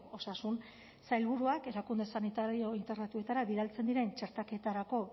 osasun sailburuak erakunde sanitario integratuetara bidaltzen diren txertaketarako